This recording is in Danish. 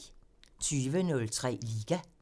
20:03: Liga